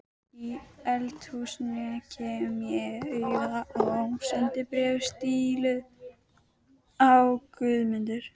Í eldhúsinu kem ég auga á sendibréf stíluð á Guðmundur